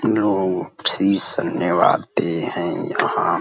लों शीश नेवाते हैं यहाँ।